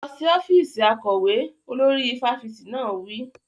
Lọ sí ọ́fíìsì akọ̀wé! Olórí fáfitì náà wí.